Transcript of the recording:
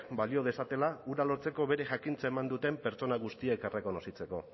balio dezatela hura lotzeko bere jakintza eman duten pertsona guztiek errekonozitzeko